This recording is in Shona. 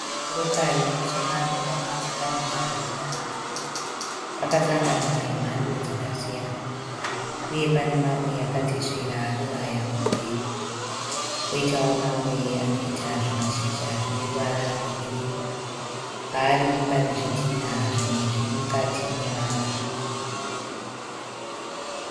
Chirokari chemaruva chakamira zvakanaka. Pakasangana emhando dzakasiyana. Uye pane mamwe akatesvera anobaya kumberi. Poitawo mamwe anoita zvimazhizha zvine ruvara rwegirini. Paari pane zvitinha. Zvimwe zviri mukati memaruva.